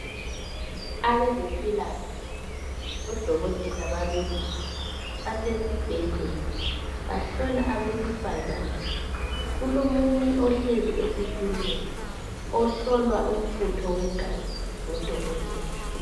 Abezempilakahle odokotela babelungu basesibhedlela bahlola abesifana. Kulomunye ohlezi esitulweni ohlolwa umfutho wegazi ngudokotela.